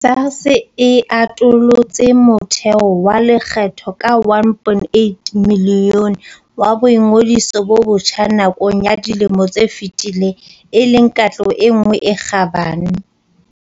SARS e atolotse motheo wa lekgetho ka 1.8 milione wa boingodiso bo botjha nakong ya dilemo tse fetileng e leng katleho e nngwe e kgabane.